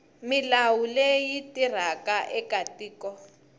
milawu leyi tirhaka eka tiko